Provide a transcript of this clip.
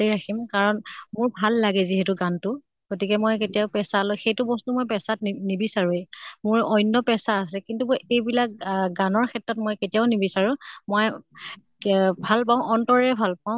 তে ৰাখিম কাৰণ মোৰ ভাল লাগে যিহেতু গান তো। গতিকে মই কেতিয়াও পেচালৈ সেইটো বস্তু মই পেচাত নি নিবিচাৰোঁয়ে। মোৰ অন্য় পেচা আছে, কিন্তু মই এইবিলাক আহ গানৰ ক্ষেত্ৰত মই কেতিয়াও নিবিচাৰোঁ। মই কেঅ ভাল পাওঁ, অন্তৰেৰে ভাল পাওঁ